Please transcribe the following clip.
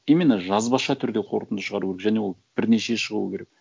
именно жазбаша түрде қорытынды шығару керек және ол бірнеше шығуы керек